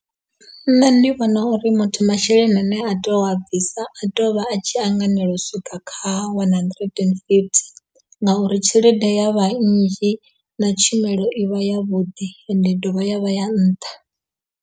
Nṋe ndi vhona uri muthu masheleni ane a tea u a bvisa a tea uvha a tshi anganela u swika kha one hundred and fifty ngauri tshelede ya vha nnzhi na tshumelo ivha ya vhuḓi ende ya dovha ya vha ya nṱha.